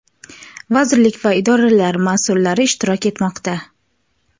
vazirlik va idoralar masʼullari ishtirok etmoqda.